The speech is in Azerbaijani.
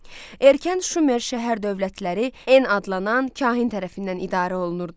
Erkən Şumer şəhər dövlətləri EN adlanan kahin tərəfindən idarə olunurdu.